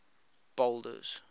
boulders